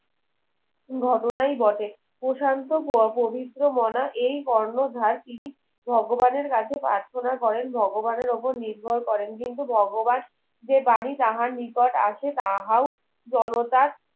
ঘটনাই ঘটে প্রশান্ত পবিত্র মনা এই কর্ণধার তিনি ভগবানের কাছে প্রার্থনা করেন ভগবানের ওপর নির্ভর করেন কিন্তু ভগবান যে বাণী তাহার নিকট আসে তাহাও জনতার